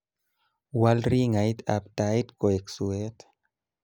wal rangiat ab tait koek suwet